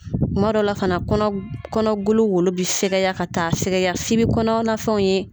Kuma dɔw la fana kɔnɔ kɔnɔgolo wolo bɛ fɛgɛya ka taa fɛgɛya f'i bɛ kɔnɔna fɛnw ye.